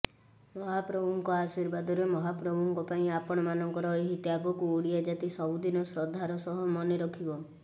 ମହାପ୍ରଭୁଙ୍କ ଆଶୀର୍ବାଦରେ ମହାପ୍ରଭୁଙ୍କ ପାଇଁ ଆପଣମାନଙ୍କର ଏହି ତ୍ୟାଗକୁ ଓଡ଼ିଆ ଜାତି ସବୁଦିନ ଶ୍ରଦ୍ଧାର ସହ ମନେ ରଖିବ